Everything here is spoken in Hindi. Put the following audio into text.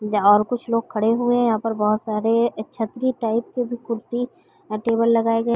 यहाँ और कुछ लोग खड़े हुए हैं । यहाँ पर बहुत सारे छत्री टाइप के भी कुर्सी और टेबल लगाये गए --